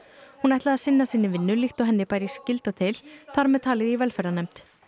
hún ætlaði að sinna sinni vinnu líkt og henni bæri skylda til þar með talið í velferðarnefnd